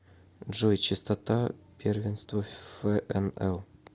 джой частота первенство фнл